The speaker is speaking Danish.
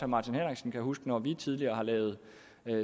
martin henriksen kan huske når vi tidligere har lavet